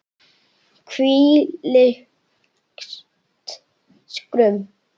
Hvílíkt skrum!